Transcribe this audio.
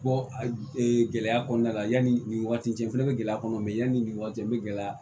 Bɔ a gɛlɛya kɔnɔna la yanni nin waati in cɛ fɛnɛ bɛ gɛlɛya kɔnɔ yanni nin waati n bɛ gɛlɛya